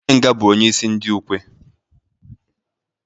Onye nga bụ onye isi ndị ukwe.